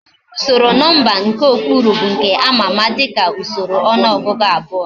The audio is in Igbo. Usoro nomba nke okpuru bu nke ama ama dika usoro onuogugu abuo